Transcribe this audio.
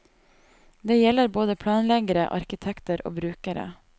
Det gjelder både planleggere, arkitekter og brukere.